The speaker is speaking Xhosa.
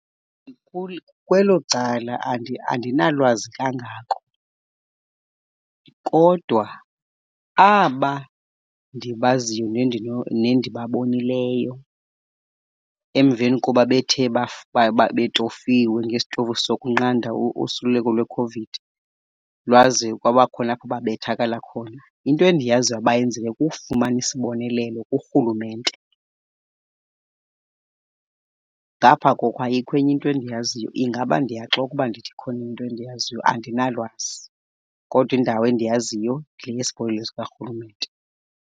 Kwelo cala andinalwazi kangako, kodwa aba ndibaziyo nendibabonileyo emveni koba bethe betofiwe ngesitofu sokunqanda usuleleko lweCOVID lwaze kwabakhona apho babethakala khona, into endiyaziyo abayenzileyo kukufumana isibonelelo kurhulumente. Ngapha koko, ayikho enye into endiyaziyo. Ingaba ndiyaxoka ukuba ndithi ikhona into endiyaziyo, andinalwazi. Kodwa indawo endiyaziyo yile yesibonelelo sikarhulumente.